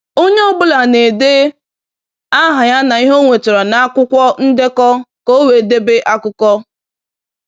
Onye ọ bụla na-ede aha ya na ihe o nwetara na akwụkwọ ndekọ ka e wee debe akụkọ.